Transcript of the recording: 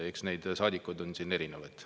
Eks neid saadikuid on siin erinevaid.